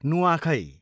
नुआखै